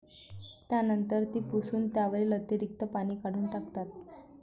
त्यानंतर ती पुसून त्यावरील अतिरीक्त पाणी काढून टाकतात.